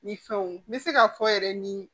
Ni fɛnw n bɛ se k'a fɔ yɛrɛ ni